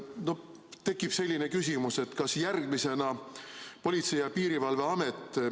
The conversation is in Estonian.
Jah, mul on tekkinud küsimus, mida Politsei- ja Piirivalveamet järgmisena teeb.